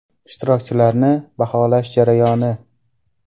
Ishtirokchilarni baholash jarayoni.